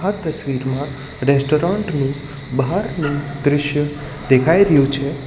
આ તસવીરમાં રેસ્ટોરન્ટ નું બહારનું દ્રશ્ય દેખાઈ રહ્યું છે.